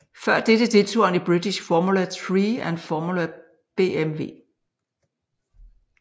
Før dette deltog han i British Formula Three og Formula BMW